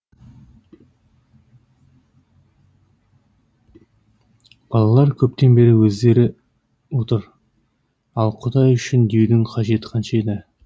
балалар көптен бері өздері отыр ал құдай үшін деудің қажеті қанша еді